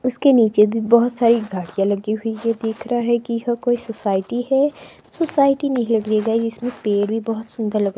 उसके नीचे भी बहोत सारी गाड़ियां लगी हुई है। दिख रहा है कि यहां कोई सोसाइटी है। सोसाइटी लगेगा इसमें पेड़ भी बहोत सुंदर लग--